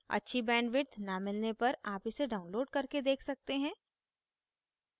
अच्छी bandwidth न मिलने पर आप इसे download करके देख सकते हैं